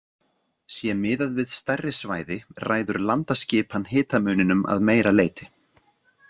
Sé miðað við stærri svæði ræður landaskipan hitamuninum að meira leyti.